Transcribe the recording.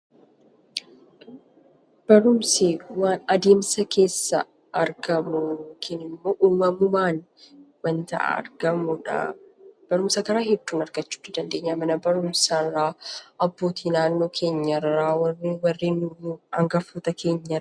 Barumsi waan adeemsa keessa argamu yookiin immoo uumamumaan waanta argamudha. Barumsa karaa hedduun argachuu ni dandeenya: mana barumsa irraa, abbootii naannoo keenya irraa warra angafoota keenya irraa.